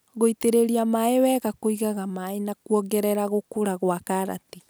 gũitĩrĩria maĩ wega kũigaga maĩ na kuongerera gũkũra gwa karati.